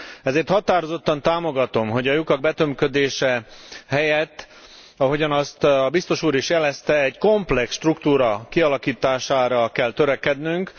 Ezért határozottan támogatom, hogy a lyukak betömködése helyett, ahogyan azt Biztos úr is jelezte, egy komplex struktúra kialakítására kell törekednünk.